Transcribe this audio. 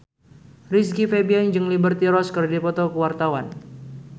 Rizky Febian jeung Liberty Ross keur dipoto ku wartawan